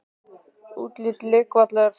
Útlit leikvallar?